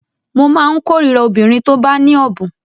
Mo má ń kórira obìnrin tó bá ní ọ̀bùn